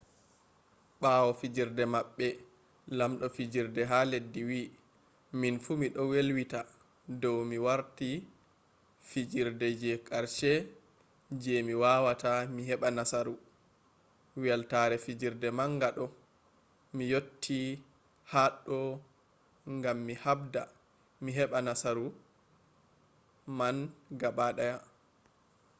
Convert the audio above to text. ɓawo fijerde maɓɓe lamɗo fijerde ha leddi wi minfu miɗo welwita dow mi warti fijerde je karshe je mi wawata mi heɓa nasaru weltare fijerde manga ɗo mi yotti haɗɗo gam mi habda mi heɓa nasauru man gaɓa ɗaya